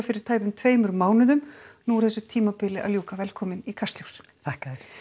fyrir tæpum tveimur mánuðum nú er þessu tímabili að ljúka velkomin í Kastljós takk fyrir